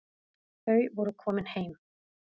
Þau voru komin heim.